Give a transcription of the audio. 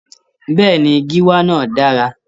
Bẹ́ẹ̀ni, gíwá náà dára.